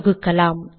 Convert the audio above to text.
தொகுக்கலாம்